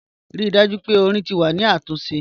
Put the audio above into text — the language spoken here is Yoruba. Rii daju pe ọ̀rìn ti wà ni atunse.